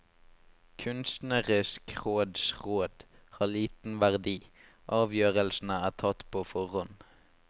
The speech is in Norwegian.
Kunstnerisk råds råd har liten verdi, avgjørelsene er tatt på forhånd.